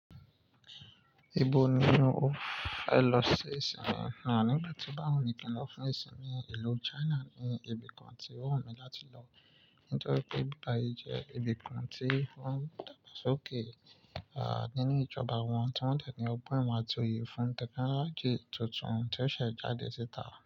Ibo ni o fẹ lọ sí ìsìnmi? Nigba ti bá wù mí kin lọ fún ìsìnmi, ìlú China ni ibìkan tí ó wù mí láti lọ. Nítorí pé ìbibayi jẹ́ ibìkan tí wọ́n ń dagbasoke a nínu ìjọba wọn, tí wọ́n de ni ọgbọ́n àti òye fún tẹ́kínology tuntun tí ó ṣẹ̀ jáde síta.